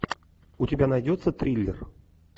у тебя найдется триллер